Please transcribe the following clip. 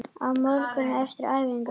Á morgun, eftir æfingu?